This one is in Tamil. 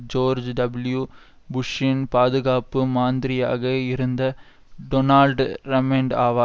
ஜோர்ஜ்டபுள்யூ புஷ்ஷின் பாதுகாப்பு மந்திரியாக இருந்த டொனால்ட் ரம்ஸ்பென்ட் ஆவார்